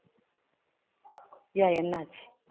ஏன் என்ன ஆச்சு?